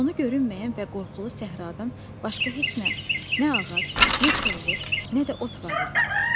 Sonu görünməyən və qorxulu səhradan başqa heç nə, nə ağac, nə kolluq, nə də ot var idi.